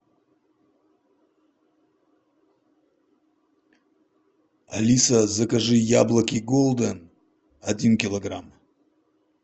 алиса закажи яблоки голден один килограмм